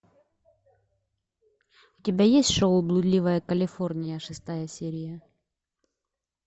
у тебя есть шоу блудливая калифорния шестая серия